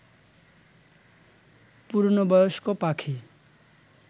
পূর্ণবয়স্ক পাখি